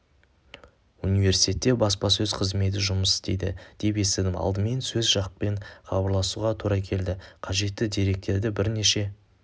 университетте баспасөз қызметі жұмыс істейді деп естідім алдымен сол жақпен хабарласуға тура келді қажетті деректерді бірнеше